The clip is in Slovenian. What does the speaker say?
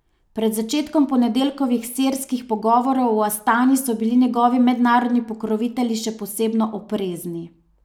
Pred začetkom ponedeljkovih sirskih pogovorov v Astani so bili njegovi mednarodni pokrovitelji še posebno oprezni.